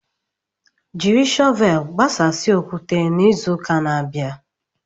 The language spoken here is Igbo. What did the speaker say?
Jiri shọvel gbasasịa okwute n'izu na-abịa.